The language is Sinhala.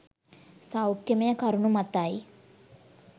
සෞඛ්‍යමය කරුණු මතයි.